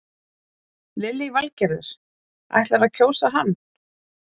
Lillý Valgerður: Ætlarðu að kjósa hann?